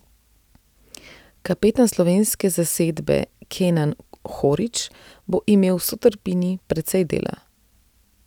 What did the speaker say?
Kapetan slovenske zasedbe Kenan Horić bo imel s sotrpini precej dela.